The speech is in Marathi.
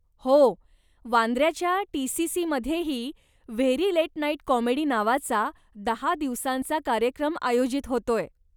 हो. वांद्य्राच्या टीसीसीमध्येही 'व्हेरी लेट नाइट कॉमेडी' नावाचा दहा दिवसांचा कार्यक्रम आयोजित होतोय.